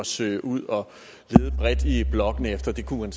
søge ud bredt i blokkene efter der kunne man